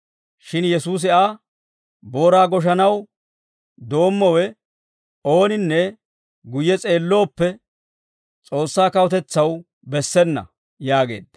Shin Yesuusi Aa, «Booraa goshanaw doommowe ooninne guyye s'eellooppe S'oossaa kawutetsaw bessena» yaageedda.